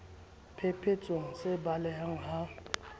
phe thetsweng se baleha ha